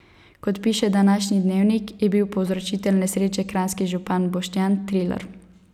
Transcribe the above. Kot piše današnji Dnevnik, je bil povzročitelj nesreče kranjski župan Boštjan Trilar.